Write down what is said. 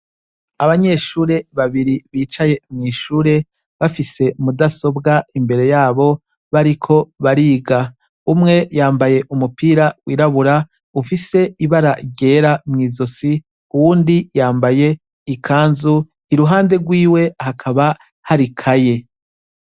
Abanyeshure babiri bicaye mw'ishure bafise mudasobwa imbere yabo bariko bariga, umwe yambaye umupira wirabura ufise ibara ryera mw'izosi uwundi yambaye ikanzu iruhande rwiwe hakaba hari ikaye.